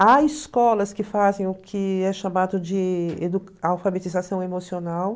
Há escolas que fazem o que é chamado de alfabetização emocional.